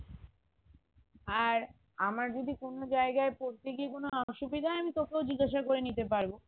আর আমার যদি কোনো জায়গায় পড়তে গিয়ে কোনো অসুবিধা হয় আমি তোকেও জিজ্ঞাসা করে নিতে পারবো